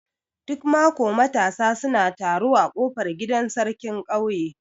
Duk mako matasa suna taro a kofar gidan sarkin ƙauye.